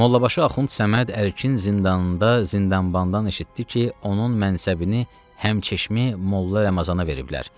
Mollabaşı Axund Səməd Ərkin zindanında zindanbandan eşitdi ki, onun mənsəbini həmçeşmi Molla Ramazana veriblər.